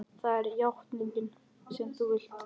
Það er játningin sem þú vilt.